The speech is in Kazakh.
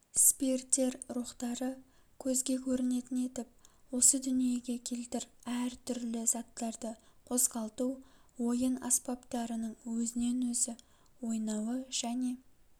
спиртер рухтары көзге көрінетін етіп осы дүниеге келтір әр түрлі заттарды қозғалту ойын аспаптарының өзінен өзі ойнауы және